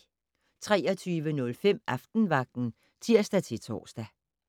23:05: Aftenvagten (tir-tor)